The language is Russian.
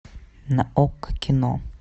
на окко кино